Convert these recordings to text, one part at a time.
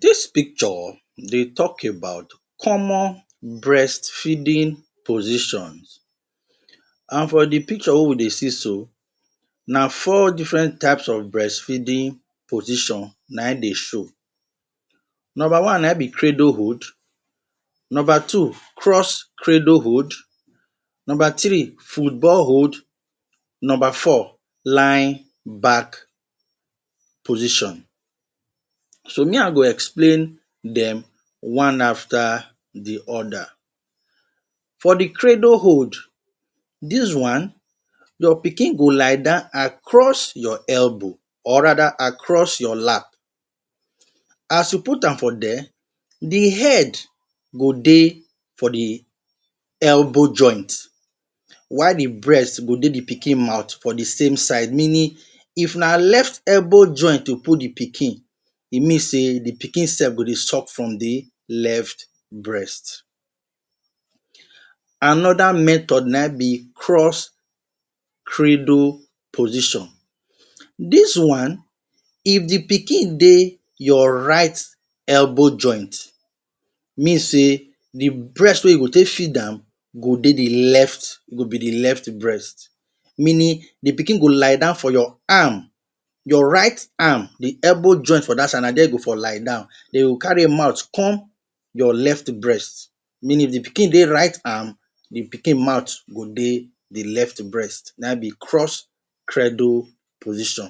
Dis picture dey talk about common breastfeeding positions, and for de picture wey we dey see so, na four different types of breastfeeding position na im dey show. Number one na im be cradle hold. Number two, cross-cradle hold. Number three, football hold. Number four, lying back position. So me I go explain dem one after de other. For de cradle hold, dis one, your pikin go lie down across your elbow, or rather across your lap. As you put am for dia, de head go dey for de elbow joint, while de breast go dey de pikin mouth for de same side, meaning if na left elbow joint you put de pikin, e mean sey de pikin sef go dey suck from de left breast. Another method na im be cross-cradle position. Dis one, if de pikin dey your right elbow joint, mean sey de breast wey you go take feed am go dey de left, go be de left breast. Meaning de pikin go lie down for your arm, your right arm, de elbow joint for dat side, na dia e go for lie down, den you go carry im mouth come your left breast. Meaning if de pikin dey right arm, de pikin mouth go dey de left breast. Na im be cross-cradle position.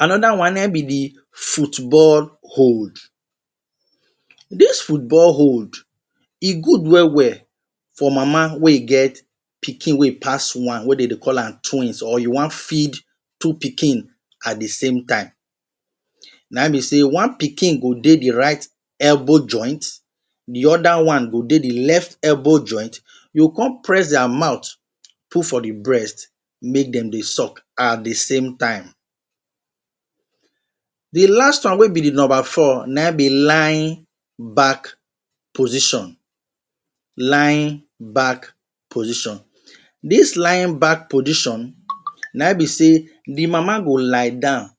Another one na im be de football hold. Dis football hold e good well well for mama wey get pikin wey pass one, wey dey dey call am twins, or you wan feed two pikin at de same time. Na im be sey one pikin go dey de right elbow joint, de other one go dey de left elbow joint, you go come press dia mouth put for de breast make dem dey suck at de same time. De last one wey be de number four na im be lying back position, lying back position. Dis lying back position na im be sey de mama go lie down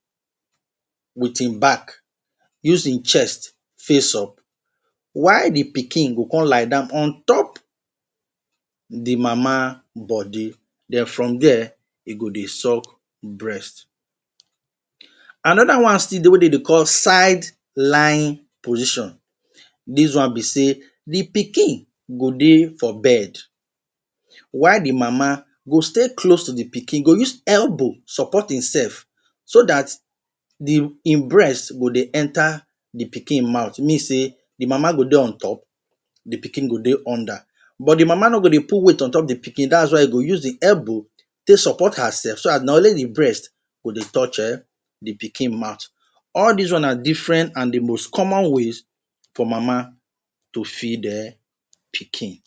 with im back, use im chest face up, while de pikin go come lie down on top de mama body, den from dia e go dey suck breast. Another one still dey wey dey dey call side lying position. Dis one be sey de pikin go dey for bed, while de mama go stay close to de pikin, e go use elbow support im sef so dat de im breast go dey enter de pikin mouth. Mean sey de mama go dey on top, de pikin go dey under. But de mama no go dey put weight on top de pikin, dats why e go use de elbow take support her sef, so dat na only de breast go dey touch um de pikin mouth. All dis one na different and de most common ways for mama to feed um pikin.